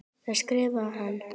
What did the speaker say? Þaðan skrifar hann